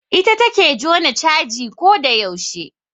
Ita take jona caji ko da yaushe